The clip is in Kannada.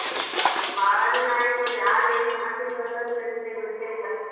ಬಾಳಾ ದಿನ ಆಯ್ತ್ ನೋಡು ಯಾರ್ ಏನ್ ಮಾಡ್ತಿದಿವಿ ಅಂತಾನೂ ನೆನ್ಪೆ ಗೊತ್ತೇ ಇಲ್ಲ.